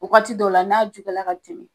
Wagati dɔw la, n'a juguyala ka tɛmɛ.